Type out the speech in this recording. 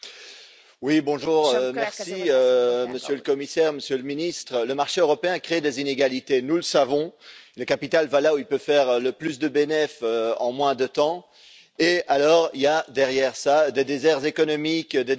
Madame la Présidente, Monsieur le Commissaire, Monsieur le Ministre, le marché européen crée des inégalités, nous le savons. Le capital va là où il peut faire le plus de bénéfices en le moins de temps, et derrière cela, il y a des déserts économiques, des déserts industriels.